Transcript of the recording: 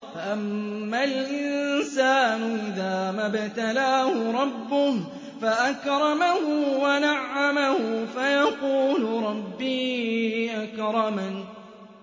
فَأَمَّا الْإِنسَانُ إِذَا مَا ابْتَلَاهُ رَبُّهُ فَأَكْرَمَهُ وَنَعَّمَهُ فَيَقُولُ رَبِّي أَكْرَمَنِ